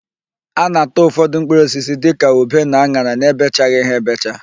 A na-ata ụfọdụ mkpụrụosisi dịka ube na an̄ara na-ebechaghị ha ebecha.